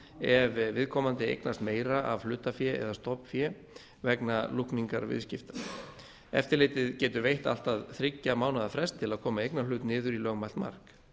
tafar ef viðkomandi eignast meira af hlutafé eða stofnfé vegna lúkningar viðskipta eftirlitið getur veitt allt að þriggja mánaða frest til að koma eignarhlut niður í lögmælt mark